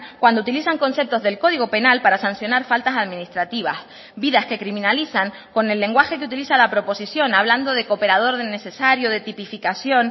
cuando utilizan conceptos del código penal para sancionar faltas administrativas vidas que criminalizan con el lenguaje que utiliza la proposición hablando de cooperador necesario de tipificación